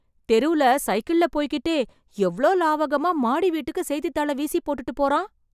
தெருல சைக்கிள்ள போய்க்கிட்டே, எவ்ளோ லாகவமா மாடி வீட்டுக்கு செய்தித்தாள வீசி போட்டுட்டு போறான்.